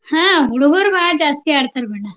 ಹ ಹುಡಗೋರ್ ಬಾಳ ಜಾಸ್ತಿ ಆಡ್ತಾರೆ ಬಣ್ಣ.